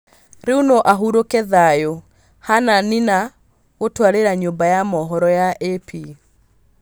Rĩu no ahurũke thayũ',Hannah Nina gũtaarĩria nyũmba ya mohoro ya AP